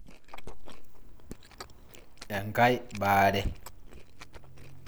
Enkae baree.